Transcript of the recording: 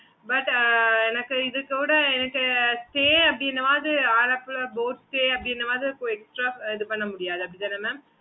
okay mam